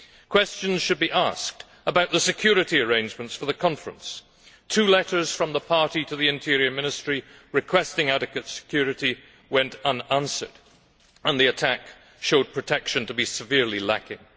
Questions should be asked about the security arrangements for the conference. Two letters from the party to the Interior Ministry requesting adequate security went unanswered, and the attack showed protection to be severely lacking.